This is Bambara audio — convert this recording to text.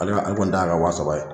Ale ka ale kɔni ta ye a ka wa saba ye.